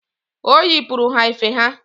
O yiputere ha efe ha.